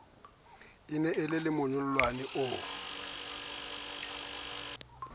e ne e lemonyollane o